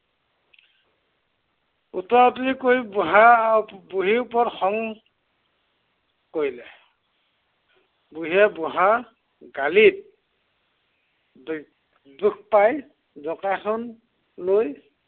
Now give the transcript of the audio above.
উতৰা উতৰি কৰি বুঢ়াৰ বুঢ়ীৰ ওপৰত খং কৰিলে। বুঢ়ীয়ে বুঢ়াৰ গালিত দু~দুখ পাই জঁকাইখন লৈ